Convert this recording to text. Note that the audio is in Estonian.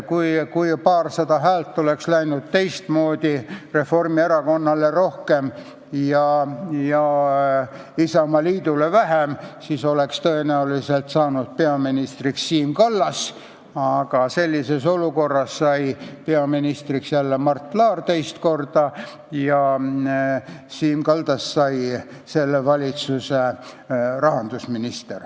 Kui paarsada häält oleks läinud Reformierakonnale rohkem ja Isamaaliidule vähem, siis oleks tõenäoliselt saanud peaministriks Siim Kallas, aga selles olukorras sai peaministriks jälle Mart Laar, teist korda, ja Siim Kallasest sai selle valitsuse rahandusminister.